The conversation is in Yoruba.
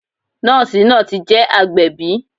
Nọ́ọ̀sì náà ti je agbẹ̀bí